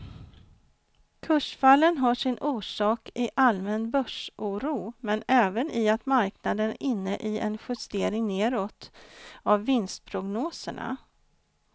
Kursfallen har sin orsak i allmän börsoro men även i att marknaden är inne i en justering nedåt av vinstprognoserna.